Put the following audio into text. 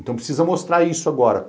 Então precisa mostrar isso agora.